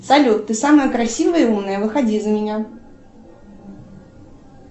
салют ты самая красивая и умная выходи за меня